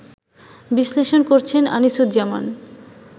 বিশ্লেষণ করছেন আনিসুজ্জামান